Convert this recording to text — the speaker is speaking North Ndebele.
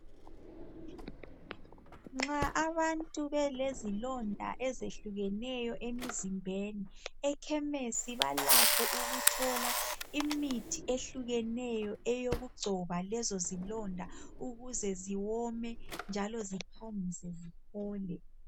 Nxa abantu belezilonda ezehlukeneyo emzimbeni ekhemesi balakho ukuthola imithi ehlukeneyo eyokugcoba lezo zilonda ukuze ziwome njalo ziphangise ziphole.